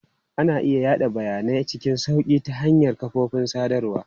Ana iya yada bayanai cikin sauƙi ta hanyar kafofin sadarwa.